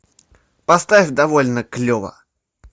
поставь довольно клево